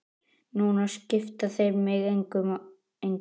Núna skipta þeir mig engu.